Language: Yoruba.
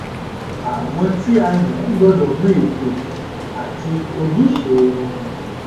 àwọn tí a yàn gbọdọ mọ ètò àti ojúṣe wọn